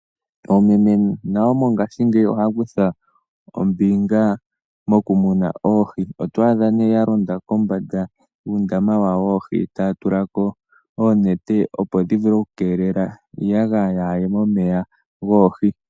Oomeme nayo mongashingeyi ohaya kutha ombinga mokumuna oohi. Otwa adha ya londa kombanda yuundama wawo woohi , taya tula ko oonete opo dhi keelele iiyagaya yaa ye momeya.